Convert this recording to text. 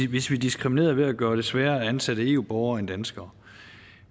hvis vi diskriminerede ved at gøre det sværere at ansætte eu borgere end danskere